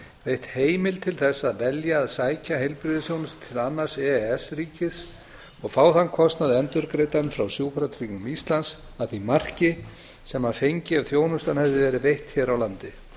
veitt heimild til þess að velja að sækja heilbrigðisþjónustu til annars e e s ríkis og fá þann kostnað endurgreiddan frá sjúkratryggingum íslands að því marki sem hann fengi ef þjónustan hefði verið veitt hér á landi